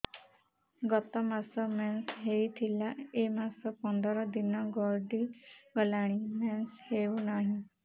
ଗତ ମାସ ମେନ୍ସ ହେଇଥିଲା ଏ ମାସ ପନ୍ଦର ଦିନ ଗଡିଗଲାଣି ମେନ୍ସ ହେଉନାହିଁ